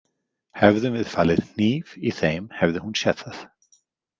Hefðum við falið hníf í þeim hefði hún séð það.